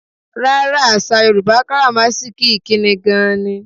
Rárá, àsà Yorùbá káràmáásìkí ikíni gan-an ni.